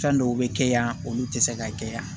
Fɛn dɔw bɛ kɛ yan olu tɛ se ka kɛ yan